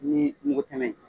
Ni mugu tɛmɛ